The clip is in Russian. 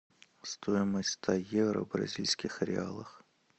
стоимость ста евро в бразильских реалах